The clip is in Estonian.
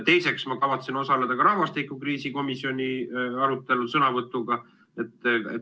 Teiseks, ma kavatsen osaleda ka rahvastikukriisi komisjoni arutelul sõnavõtuga.